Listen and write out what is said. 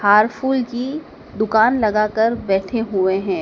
हार फुल की दुकान लगा कर बैठे हुए हैं।